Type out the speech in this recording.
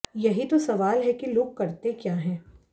यही तो सवाल है कि लोग करते क्या हैं